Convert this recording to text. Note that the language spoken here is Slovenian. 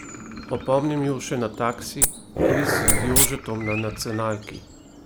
Opomnim ju še na Taksi, kviz z Jožetom, na nacionalki.